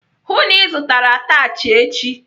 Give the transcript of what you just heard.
Hụụ na Ị zụtara atachị echi!